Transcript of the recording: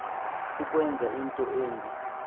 ukwenza into embi